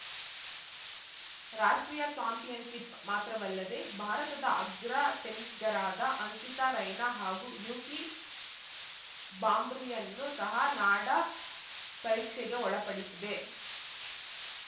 ರಾಷ್ಟ್ರೀಯ ಚಾಂಪಿಯನ್‌ಶಿಪ್‌ ಮಾತ್ರವಲ್ಲದೆ ಭಾರತದ ಅಗ್ರ ಟೆನಿಸ್ ಗರಾದ ಅಂಕಿತಾ ರೈನಾ ಹಾಗೂ ಯೂಕಿ ಭಾಂಬ್ರಿಯನ್ನು ಸಹ ನಾಡಾ ಪರೀಕ್ಷೆಗೆ ಒಳಪಡಿಸಿದೆ